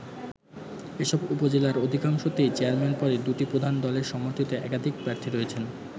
এসব উপজেলার অধিকাংশতেই চেয়ারম্যান পদে দু’টি প্রধান দলের সমর্থিত একাধিক প্রার্থী রয়েছেন।